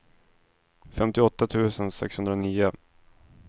femtioåtta tusen sexhundranio